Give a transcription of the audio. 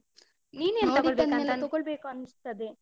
ತೊಗೊಳ್ಬೇಕು ಅನ್ಸ್ತದೆ.